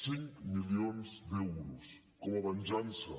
cinc milions d’euros com a venjança